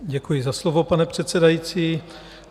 Děkuji za slovo, pane předsedající.